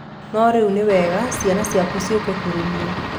No rĩu nĩ wega ciana ciaku ciũke kũrĩ niĩ.